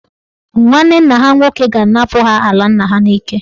Nwanne nna ha nwoke ga-anapụ ha ala nna ha n'ike.